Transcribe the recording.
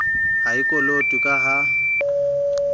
ha e kolotwe ka ha